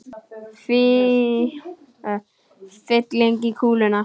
Fylling í kúluna.